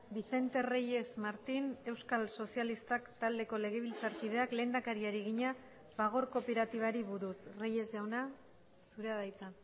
vicente reyes martín euskal sozialistak taldeko legebiltzarkideak lehendakariari egina fagor kooperatibari buruz reyes jauna zurea da hitza